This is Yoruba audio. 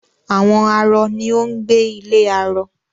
Àwọn arọ ni ó ń gbé ilé arọ